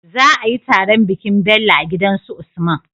Za ayi taron bikin Bello a gidan su usman